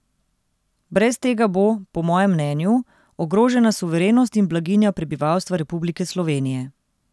Brez tega bo, po mojem mnenju, ogrožena suverenost in blaginja prebivalstva Republike Slovenije.